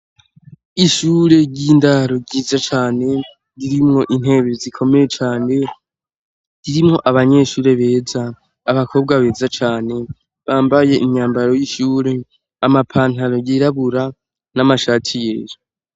Ishure ry'indaro ryiza cane irimwo intebe zikomeye cane, ririmwo abanyeshure beza, abakobwa beza cane bambaye imyambaro y'ishure, amapantaro yirabura n'amashati yera.